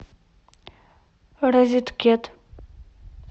розеткед